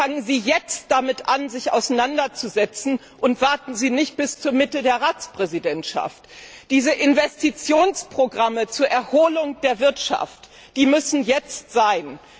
Aber fangen Sie jetzt damit an, sich auseinanderzusetzen, und warten Sie nicht bis zur Mitte der Ratspräsidentschaft. Diese Investitionsprogramme zur Erholung der Wirtschaft müssen jetzt sein.